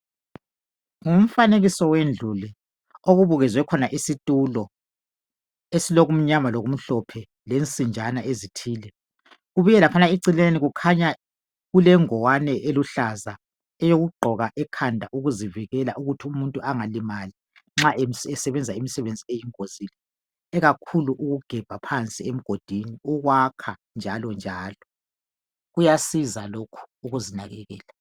ngumfanekiso wendlu le okubukezwe khona isitulo esilokumnyama lokumhlophe lensinjana ezithile kubuye laphana eceleni kulengwani elulaza eyokugqoka ekhanda eyokuzivikela kuthi umuntu angalimali nxa esbenza imisebenzi eyingozi ikakhulu ukugabha phansi emgodini kumbe ukwakha njalo njalo kuyasiza lokhu ukuzinakekela